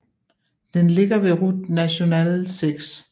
Den ligger ved Route nationale 6